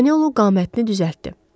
Panelo qamətini düzəltdi.